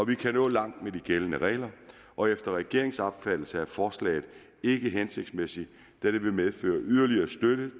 kan nå langt med de gældende regler og efter regeringens opfattelse er forslaget ikke hensigtsmæssigt da det vil medføre yderligere støtte